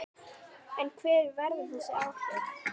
En hver verða þessi áhrif?